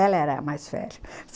Ela era a mais velha.